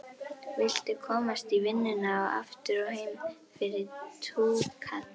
Viltu komast í vinnuna og aftur heim fyrir túkall?